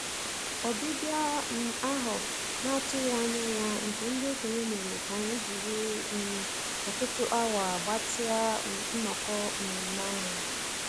Ọbịbịa um ahụ a na-atụghị anya ya nke ndị okenye mere ka anyị jiri um ọtụtụ awa gbatịa um nnọkọ nmenme ahụ.